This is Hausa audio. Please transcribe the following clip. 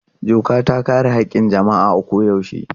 Doka ta kare haƙƙin jama'a a koyaushe.